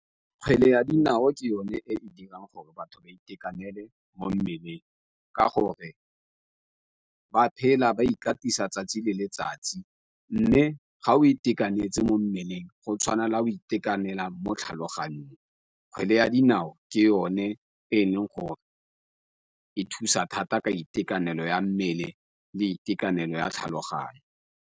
Kgwele ya dinao ke yone e dirang gore batho ba itekanele mo mmeleng ka gore ba phela ba ikatisa tsatsi le letsatsi, mme ga o itekanetse mo nnang meleng go tshwana le o itekanela mo tlhaloganyong kgwele ya dinao ke yone e leng gore e thusa thata ka itekanelo ya mmele le itekanelo ya tlhaloganyo.